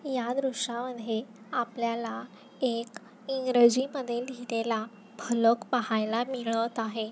या दृश्यामध्ये आपल्याला एक इंग्रजी मध्ये लिहिलेलं फलक पाहायला मिळत आहे.